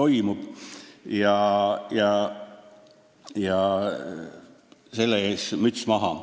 Müts maha selle ees!